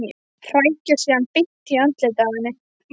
Hrækja síðan beint í andlitið á henni.